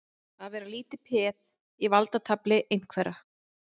Að vera lítið peð í valdatafli einhverra